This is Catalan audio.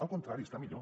al contrari està millor